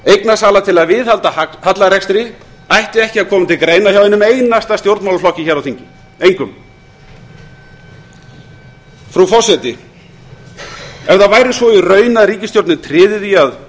eignasala til að viðhalda hallarekstri ætti ekki að koma til greina hjá einum einasta stjórnmálaflokki hér á þingi engum frú forseti ef það væri svo í raun að ríkisstjórnin tryði því að